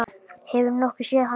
Hefurðu nokkuð séð hann Hjálmar